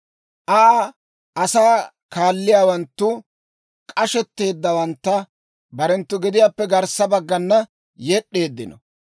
Aa asaa kaaletsiyaawanttu k'ashetteeddawantta barenttu gediyaappe garssa baggana yed'd'eeddino;